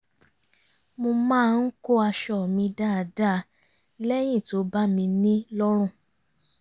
mo máa ń kó aṣọ mi dáadáa lẹ́yìn tó bá mi ní lọ́rùn